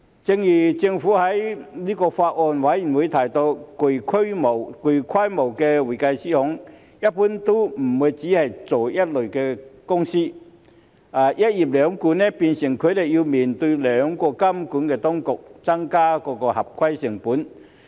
正如政府在法案委員會提到，具規模的會計師行一般都不會只是做一類公司，"一業兩管"，變成他們要面對兩個監管當局，增加合規成本。